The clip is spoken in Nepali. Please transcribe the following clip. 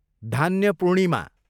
धान्यपूर्णिमा